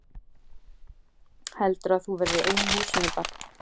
Heldurðu að þú verðir ein í húsinu barn!